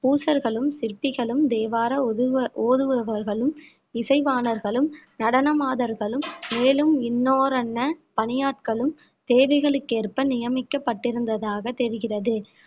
பூசர்களும் சிற்பிகளும் தேவாரம் ஒதுங்க~ ஓதுவார்களும் இசைவாணர்களும் நடன மாதர்களும் மேலும் இன்னோரன்ன பணியாட்களும் தேவைகளுக்கு ஏற்ப நியமிக்கப்பட்டிருந்ததாக தெரிகிறது